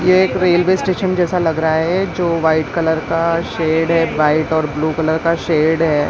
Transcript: Railway station जैसा लग रहा है जो वाइट कलर का शेड है वाइट और ब्लू कलर का शेड है।